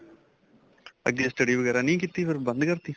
ਅੱਗੇ study ਵਗੈਰਾ ਨਹੀਂ ਕੀਤੀ ਬੰਦ ਕਰਤੀ